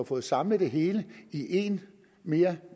fået samlet det hele i én mere